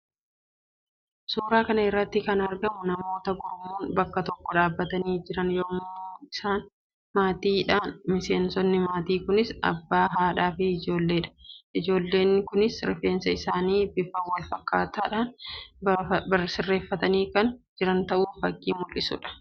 Suuraa kana irratti kan argamu namoota gurmuun bakka tokko dhaabbatanii jiran yammuu isaannis maatii dha. Miseensonni maatii kunis abbaa, haadhaa fi ijoolleedha. Ijoollonni kunis rifeensa isaanii bifa wal fakkaataan sirreeffatanii kan jiran ta'u fakkii mul'isuu dha.